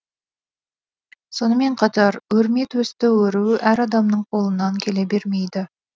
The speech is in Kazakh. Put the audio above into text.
сонымен қатар өрметөсті өру әр адамның қолынан келе бермейді